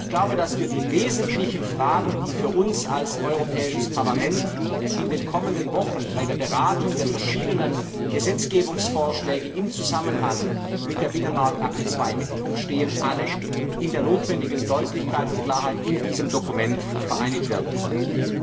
Ich glaube, dass die wesentlichen Fragen, die für uns als Europäisches Parlament in den kommenden Wochen bei der Beratung der verschiedenen Gesetzgebungsvorschläge im Zusammenhang mit der Binnenmarktakte II im Mittelpunkt stehen, alle in der notwendigen Deutlichkeit und Klarheit in diesem Dokument vereinigt werden konnten.